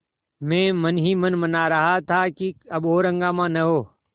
मैं मन ही मन मना रहा था कि अब और हंगामा न हो